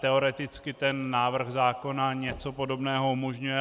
Teoreticky ten návrh zákona něco podobného umožňuje.